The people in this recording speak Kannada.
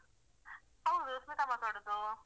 ಹೌದು ಸ್ಮಿತಾ ಮಾತಾಡುವುದು.